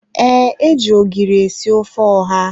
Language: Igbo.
Ee, e ji ogiri esi ofe ọha